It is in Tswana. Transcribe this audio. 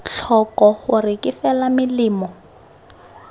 tlhoko gore ke fela melemo